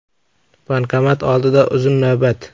Bankomat oldida uzun navbat.